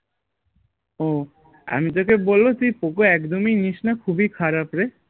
ও আমি তোকে বলবো তুই পোকো একদম ই নিস না খুবই খারাপ রে